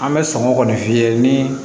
An bɛ sɔngɔ kɔni f'i ye ni